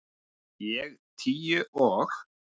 Ég tíu og